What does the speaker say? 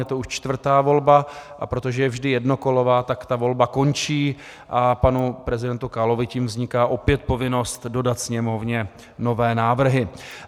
Je to už čtvrtá volba, a protože je vždy jednokolová, tak ta volba končí a panu prezidentu Kalovi tím vzniká opět povinnost dodat Sněmovně nové návrhy.